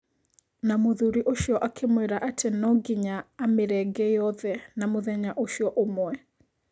Na mũthuri ũcio akĩmwĩra atĩ no nginya amĩrenge yothe na mũthenya ũcio ũmwe.